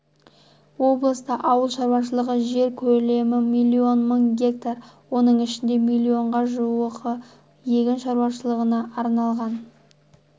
облыста ауыл шаруашылығы жер көлемі миллион мың гектар оның ішінде миллионға жуығы егін шаруашылығына арналған